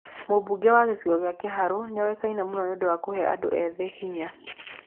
Mũmbunge wa gĩcigo gĩa Kiharũ nĩoĩkaine mũno nĩ ũndũ wa kũhe andũ ethĩ hinya.